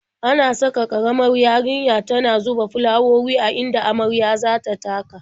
Ana sa ƙaramar yarinya tana zuba fulawowi a inda marya za ta taka.